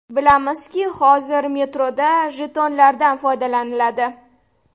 Bilamizki, hozir metroda jetonlardan foydalaniladi.